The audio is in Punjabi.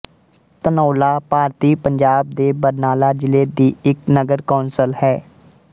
ਧਨੌਲਾ ਭਾਰਤੀ ਪੰਜਾਬ ਦੇ ਬਰਨਾਲਾ ਜ਼ਿਲ੍ਹੇ ਦੀ ਇੱਕ ਨਗਰ ਕੌਂਸਲ ਹੈ